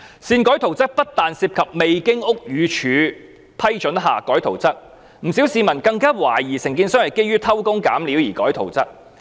擅改圖則不單涉及未經屋宇署批准而更改圖則，不少市民更懷疑承建商是基於偷工減料而擅改圖則。